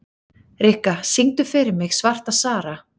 Rikka, syngdu fyrir mig „Svarta Sara“.